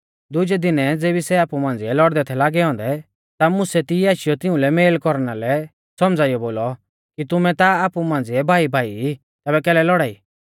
दुजै दिनै ज़ेबी सै आपु मांझ़िऐ लौड़दै थै लागै औन्दै ता मुसै तिऐ आशीयौ तिउंलै मेल कौरना लै सौमझ़ाइयौ बोलौ कि तुमै ता आपु मांझ़िऐ भाईभाई ई तैबै कैलै लौड़ाई